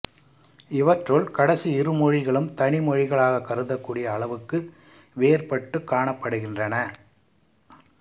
இவற்றுள் கடைசி இரு மொழிகளும் தனி மொழிகளாகக் கருதக்கூடிய அளவுக்கு வேற்பட்டுக் காணப்படுகின்றன